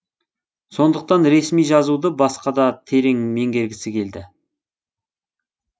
соныдқтан ресми жазуды басқада терең меңгергісі келді